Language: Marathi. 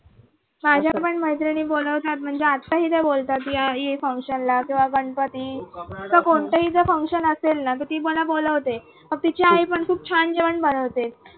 माझ्या पण मैत्री बोलवता म्हणजे आता ही बोलतात ये ये function ला तेव्हा गणपती असं कोणताही जर function असेल ना तर ती मला बोलवते मग तिची आई पण खूप छान जेवण बनवते.